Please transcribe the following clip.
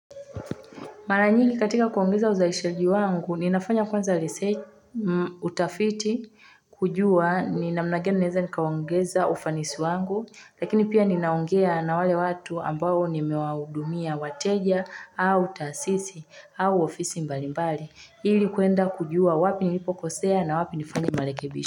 Mara nyingi katika kuongeza uzalishaji wangu, ninafanya kwanza utafiti kujua ni namna gani naweza nikaongeza ufanisi wangu, lakini pia ninaongea na wale watu ambao nimewahudumia wateja au taasisi au ofisi mbalimbali ili kwenda kujua wapi nilipokosea na wapi nifanye marekebisho.